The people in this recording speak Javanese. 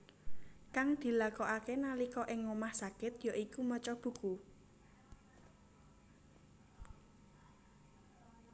Kang dilakokake nalika ing omah sakit ya iku maca buku